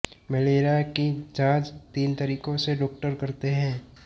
malaria की जांच तीन तरीको से डॉक्टर करते है